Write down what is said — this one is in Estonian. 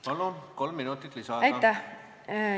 Palun, kolm minutit lisaaega!